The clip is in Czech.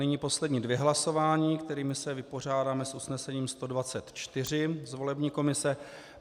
Nyní poslední dvě hlasování, kterými se vypořádáme s usnesením 124 z volební komise.